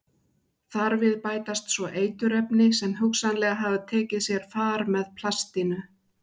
Þar við bætast svo eiturefni sem hugsanlega hafa tekið sér far með plastinu.